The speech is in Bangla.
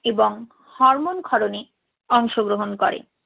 এবং হরমোন ক্ষরণে অংশ গ্রহণ করে।